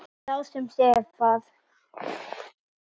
Sá sem sefar.